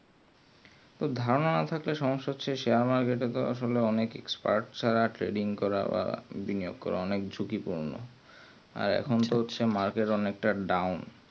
তো ধারণা না থাকলে সম্যসা হচ্ছে কি সে আমাকে তো আসলে অনেক share ছাড়া expert করা বা বিনিয়াকর অনেক ঝুঁকিপূর্ণ আর এখুন তো হচ্ছে trading অনেক তো down